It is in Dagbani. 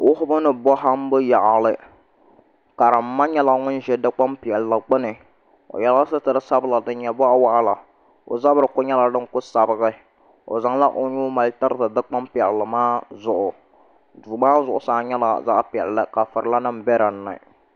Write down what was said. Wuhubu ni bohambu yaɣali karimma nyɛla ŋun ʒɛ dikpuni piɛlli gbuni o yɛla sitiri sanila din nyɛ boɣa waɣala o zabiri ku nyɛla din ku sabigi o zaŋla o nuu mali tiriti dikpuni piɛlli maa zuɣu duu maa zuɣusaa nyɛla zaɣ piɛlli ka furila nim bɛ dinni